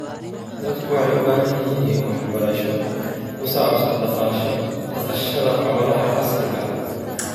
Dadku waxay u baahan yihiin waxbarasho ku saabsan dhaqashada xoolaha casriga ah.